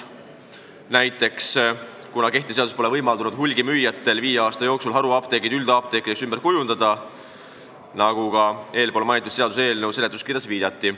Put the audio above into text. Näiteks, kehtiv seadus pole võimaldanud hulgimüüjatel viie aasta jooksul haruapteeke üldapteekideks ümber kujundada, nagu ka eespool mainitud seaduseelnõu seletuskirjas viidati.